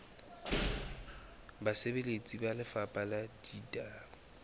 basebeletsi ba lefapha la ditaba